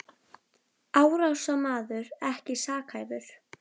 Árásarmaður ekki sakhæfur